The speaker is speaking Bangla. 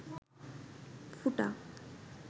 ফুটা